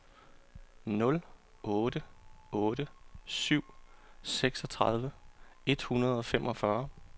nul otte otte syv seksogtredive et hundrede og femogfyrre